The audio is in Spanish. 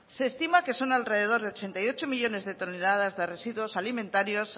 se estima que son alrededor de ochenta y ocho millónes de toneladas de residuos alimentarios